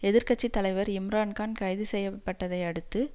எதிர்கட்சி தலைவர் இம்ரான் கான் கைது செய்ய பட்டதை அடுத்து